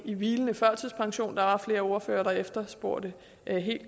i hvilende førtidspension der var flere ordførere der efterspurgte